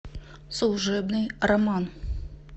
служебный роман